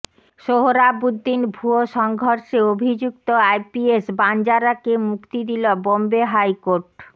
সোহরাবুদ্দিন ভুয়ো সংঘর্ষে অভিযুক্ত আইপিএস বাঞ্জারাকে মুক্তি দিল বম্বে হাইকোর্ট